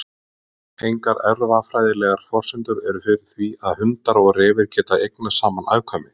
Engar erfðafræðilegar forsendur eru fyrir því að hundar og refir geti eignast saman afkvæmi.